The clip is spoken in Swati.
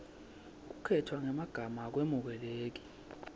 kukhetfwa kwemagama akwemukeleki